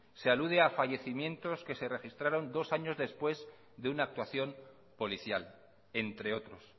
se alude a fallecimientos que se registraron dos años después de una actuación policial entre otros